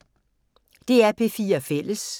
DR P4 Fælles